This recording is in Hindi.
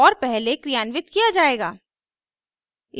और पहले क्रियान्वित किया जायेगा